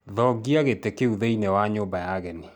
Thongia gĩtĩ kĩu thĩiniĩ wa nyũmba ya ageni